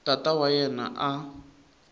tata wa yena a a